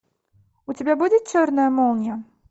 у тебя будет черная молния